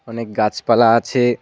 অনেক গাছপালা আছে।